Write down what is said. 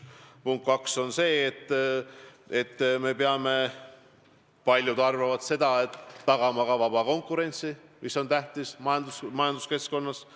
Punkt 2 on see, et me peame – paljud arvavad seda – tagama ka vaba konkurentsi, mis on tähtis majanduskeskkonnas.